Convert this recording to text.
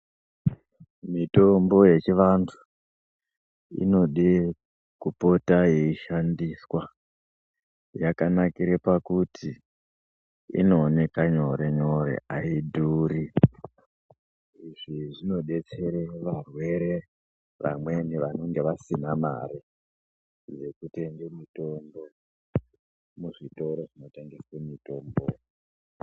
Mitombo yechivantu, inode kupota yeishandiswa, yakanakira pakuti, inowoneka nyore-nyore, ayidhuri izvi zvinodetsera varwere vamweni vanenge vasina mari yekutenge mutombo, muzvitoro zvinotengeswe mitombo.